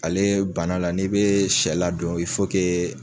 Ale bana la n'i be sɛ ladon